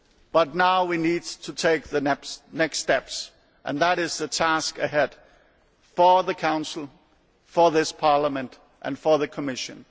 But now we need to take the next steps, and that is the task ahead for the Council, for this Parliament and for the Commission.